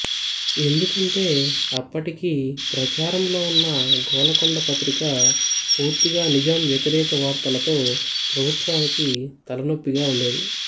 ఎందుకంటే అప్పటికి ప్రచారంలో ఉన్న గోలకొండ పత్రిక పూర్తిగా నిజాం వ్యతిరేక వార్తలతో ప్రభుత్వానికి తలనొప్పిగా ఉండేది